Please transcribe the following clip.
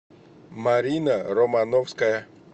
марина романовская